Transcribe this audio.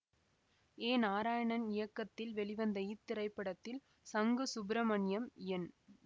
ஏ நாராயணன் இயக்கத்தில் வெளிவந்த இத்திரைப்படத்தில் சங்கு சுப்பிரமணியம் என்